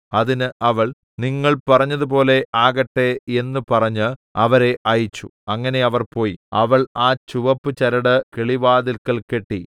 അതിന് അവൾ നിങ്ങൾ പറഞ്ഞതുപോലെ ആകട്ടെ എന്ന് പറഞ്ഞ് അവരെ അയച്ചു അങ്ങനെ അവർ പോയി അവൾ ആ ചുവപ്പു ചരട് കിളിവാതില്ക്കൽ കെട്ടി